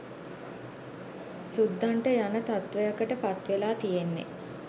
සුද්දන්ට යන තත්ත්වයකට පත්වෙලා තියෙන්නේ